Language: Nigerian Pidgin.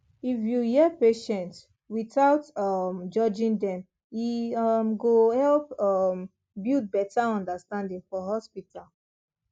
if you hear patient without um judging dem e um go help um build better understanding for hospital